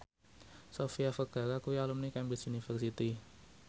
Sofia Vergara kuwi alumni Cambridge University